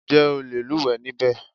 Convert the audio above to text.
Ǹjẹ́ o le lúùwẹ́ níbẹ̀?